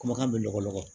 Kumakan bɛ lɔgɔ